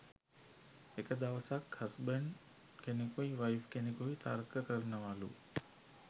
එක දවසක් හස්බන්ඩ් කෙනෙකුයි වයිෆ් කෙනෙකුයි තර්ක කරනවලු